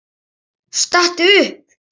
Stattu upp!